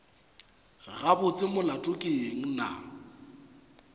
gabotse molato ke eng na